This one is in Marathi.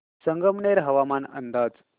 संगमनेर हवामान अंदाज